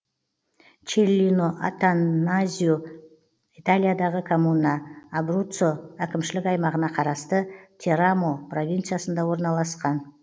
челлино аттаназьо италиядағы коммуна абруццо әкімшілік аймағына қарасты терамо провинциясында орналасқан